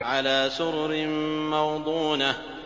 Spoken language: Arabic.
عَلَىٰ سُرُرٍ مَّوْضُونَةٍ